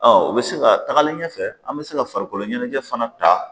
o bɛ se ka tagalen ɲɛfɛ an bɛ se ka farikolo ɲɛnajɛ fana ta